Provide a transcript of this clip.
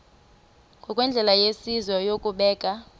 ngokwendlela yesizwe yokubeka